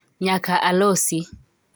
nyaka alosi